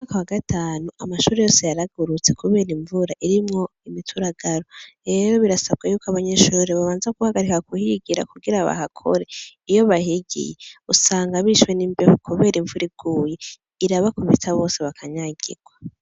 Umwaka wa gatanu amashure yaragurutse kubera imvura irimwo imituragaro, rero birasaba ko abanyeshure babanza guhagarika kuhigira kugira bahakore, iyo bahigiye usanga bishwe n'imbeho kubera imvura iguye irabakubita bose bakanyagirwa.